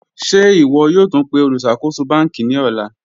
Ṣẹ̀ ìwọ̀ yòó túń pẹ̀ olùṣakóṣò bankí ní òlà?